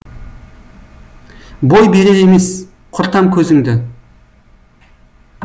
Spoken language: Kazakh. бой берер емес құртам көзіңді